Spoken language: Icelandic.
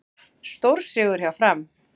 Stórsigur hjá Fram